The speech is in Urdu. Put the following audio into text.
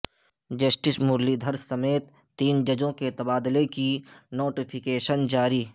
جسٹس مرلی دھر سمیت تین ججوں کے تبادلے کی نوٹیفکیشن جاری